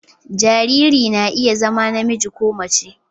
Jariri na iya zama namiji ko mace